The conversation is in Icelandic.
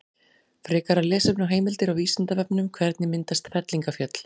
Frekara lesefni og heimildir á Vísindavefnum: Hvernig myndast fellingafjöll?